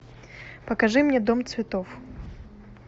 покажи мне дом цветов